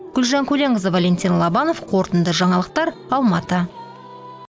гүлжан көленқызы валентин лобанов қорытынды жаңалықтар алматы